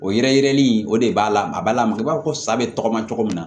O yɛrɛ yirɛni o de b'a la a ba lamaka i b'a fɔ ko sa bɛ tɔgɔma cogo min na